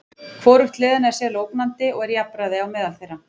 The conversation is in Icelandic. Hvorugt liðanna er sérlega ógnandi og er jafnræði á meðal þeirra.